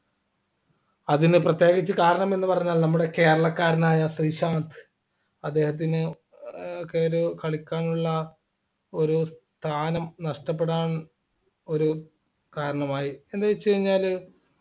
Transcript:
അതിന് പ്രത്യേകിച്ച് കാരണമെന്ന് പറഞ്ഞാൽ നമ്മുടെ കേരളക്കാരനായ ശ്രീശാന്ത് അദ്ദേഹത്തിന് ഏർ കളിക്കാനുള്ള ഒരു സ്ഥാനം നഷ്ടപ്പെടാൻ ഒരു കാരണമായി എന്ത് വെച്ച് കഴിഞ്ഞാല്